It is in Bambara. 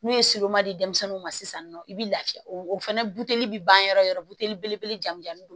N'u ye di denmisɛnninw ma sisan nɔ i bɛ lafiya o fana bi ban yɔrɔ yɔrɔ belebele jami don